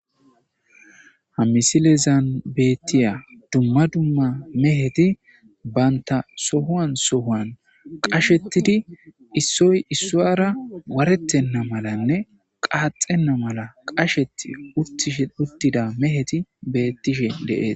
Ha missilezan betiyay duma duma meheti banta sohuwan sohuwan qashetidi isoy isuwara waretena malane qaxena mala qasheti utishe utida meheti betishe de'etes.